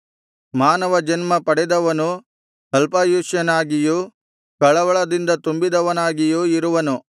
ಮಾನವ ಜನ್ಮ ಪಡೆದವನು ಅಲ್ಪಾಯುಷ್ಯನಾಗಿಯೂ ಕಳವಳದಿಂದ ತುಂಬಿದವನಾಗಿಯೂ ಇರುವನು